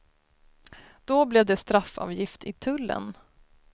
Då blev det straffavgift i tullen.